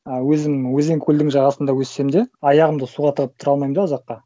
ы өзім өзен көлдің жағасында өссем де аяғымды суға тығып тұра алмаймын да ұзаққа